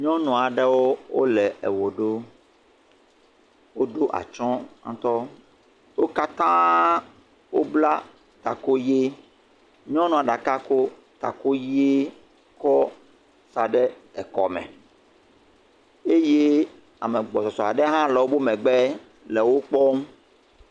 Nyɔnu aɖewo wole ewɔ ɖum. Woɖo atsɔ ŋtɔ. Wo katã wobla taku ʋi. Nyɔnua ɖeka ko taku ʋi kɔ sa ɖe ekɔme eye ame gbɔsɔsɔ aɖe hã le wobe megbe le wo kpɔm.